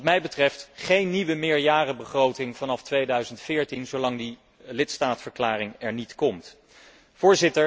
Wat mij betreft komt er geen nieuwe meerjarenbegroting vanaf 2014, zolang die lidstaatverklaring er niet is.